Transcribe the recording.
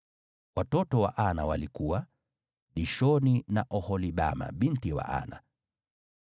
Watoto wa Ana walikuwa: Dishoni na Oholibama binti wa Ana.